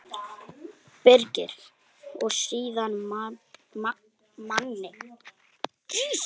Birgir: Og stríða manni.